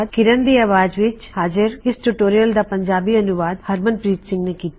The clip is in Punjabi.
ਕਿਰਨ ਦੀ ਆਵਾਜ਼ ਵਿੱਚ ਹਾਜ਼ਰ ਇਸ ਟਿਊਟੋਰਿਯਲ ਦਾ ਪੰਜਾਬੀ ਅਨੂਵਾਦ ਹਰਮਨਪ੍ਰੀਤ ਸਿੰਘ ਨੇਂ ਕੀਤਾ